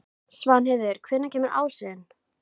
Svanheiður, hvenær kemur ásinn?